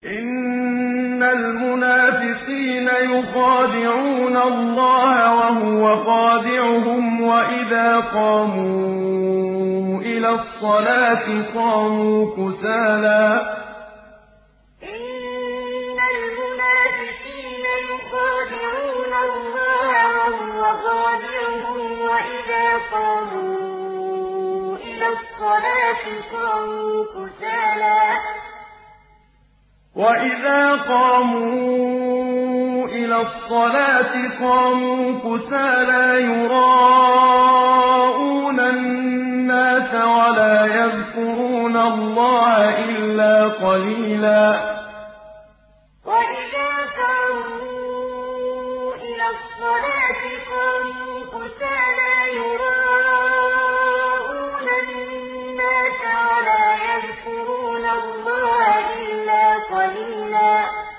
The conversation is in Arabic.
إِنَّ الْمُنَافِقِينَ يُخَادِعُونَ اللَّهَ وَهُوَ خَادِعُهُمْ وَإِذَا قَامُوا إِلَى الصَّلَاةِ قَامُوا كُسَالَىٰ يُرَاءُونَ النَّاسَ وَلَا يَذْكُرُونَ اللَّهَ إِلَّا قَلِيلًا إِنَّ الْمُنَافِقِينَ يُخَادِعُونَ اللَّهَ وَهُوَ خَادِعُهُمْ وَإِذَا قَامُوا إِلَى الصَّلَاةِ قَامُوا كُسَالَىٰ يُرَاءُونَ النَّاسَ وَلَا يَذْكُرُونَ اللَّهَ إِلَّا قَلِيلًا